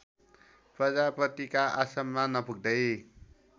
प्रजापतिका आश्रममा नपुग्दै